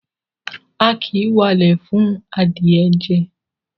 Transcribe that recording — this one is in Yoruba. A kì í walẹ̀ fún adìẹ jẹ.